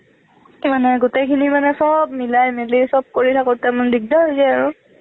মানে গোটেইখিনি মানে চব মিলামিলি চব কৰি থাকোঁতে মানে দিগদাৰ হৈ যায় আৰু